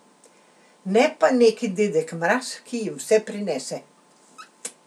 Ne pa neki dedek Mraz, ki jim vse prinese.